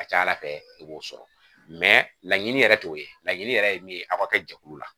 A ka ca ala fɛ i b'o sɔrɔ mɛ laɲini yɛrɛ t'o ye laɲini yɛrɛ ye min ye a ka kɛ jɛkulu la